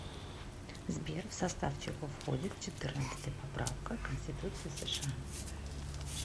сбер в состав чего входит четырнадцатая поправка к конституции сша